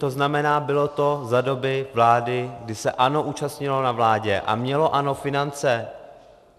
To znamená, bylo to za doby vlády, kdy se ANO účastnilo na vládě a mělo ANO finance.